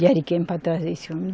De Ariquemes para trazer esse homem.